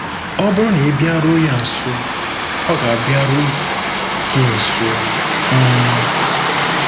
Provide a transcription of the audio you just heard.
Ọ bụrụ na ị bịaruo ya nso, ọ ga-abịaru gị nso. um